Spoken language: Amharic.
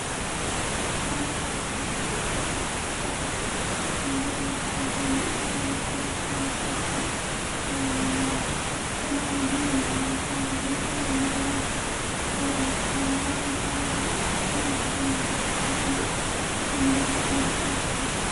ሻሎም ባስ ነው። በደቡብ አካባቢ ወደ አድስ አበባ ወይም ሀገር አቋራጭ ትራንስፖርት ነው። ከተለያዩ የሀዋሳ እንድሁም የተለያዩ የደቡብ ክፍል ወደ አድስ አበባ ከአድስ አበባ ደግሞ ወደተለያዩ ክፍለሀገሮች የህዝብ ትራንስፖርት ይሰጣል።